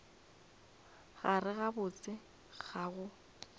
gare ga botse ga go